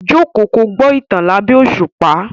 Jókòó kí o gbọ́ ìtàn lábẹ́ òṣùpá.